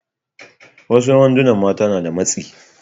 Wasu wandunan mata suna da matsi.